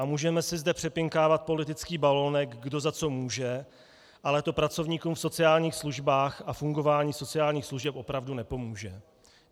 A můžeme si zde přepinkávat politický balonek, kdo za co může, ale to pracovníkům v sociálních službách a fungování sociálních služeb opravdu nepomůže.